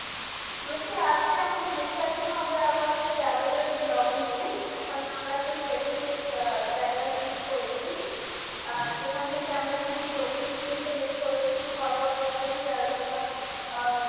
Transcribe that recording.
বলছি আজকে আমাদের discussion হবে আবার এই travel এর blog নিয়ে ওখানে আমরা একটা specific আহ জায়গা choose করেছি যেখান থেকে আমরা কিছু লোক জনকে select করেছি কথা বলার জন্যে যারা যারা আহ